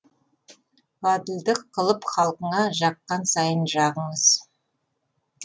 ғаділдік қылып халқыңа жаққан сайын жағыңыз